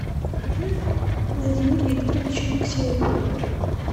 владимир викторович алексеев